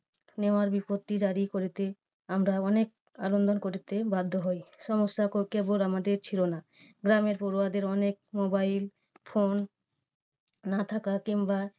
নেওয়ার বিজ্ঞপ্তি জারি করিতে আমরা অনেক আবেদন করিতে বাধ্য হই সমস্যার পক্ষে বোধ আমাদের ছিল না। গ্রামের পড়ুয়াদের অনেক মোবাইল ফোন না থাকা কিংবা